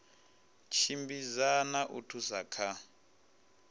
tshimbidza na u thusa kha